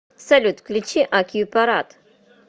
салют включи акьюпарат